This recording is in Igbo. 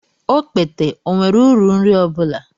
Okpete ọ nwere uru nri ọ bụla?